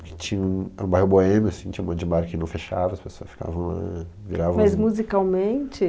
Porque tinha um, um bairro boêmio, assim, tinha um monte de bar que não fechava, as pessoas ficavam ãh, viravam assim... Mas musicalmente?